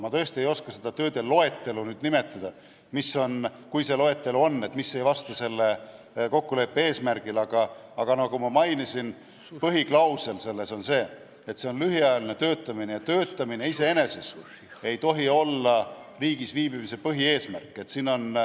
Ma tõesti ei oska seda tööde loetelu nimetada, mis ei vasta selle kokkuleppe eesmärgile, aga nagu ma mainisin, põhiklausel on see, et see on lühiajaline töötamine ja töötamine ei tohi olla riigis viibimise põhieesmärk.